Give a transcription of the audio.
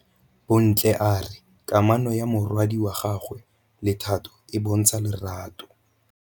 Bontle a re kamanô ya morwadi wa gagwe le Thato e bontsha lerato.